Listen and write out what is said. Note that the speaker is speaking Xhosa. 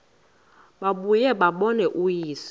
babuye bambone uyise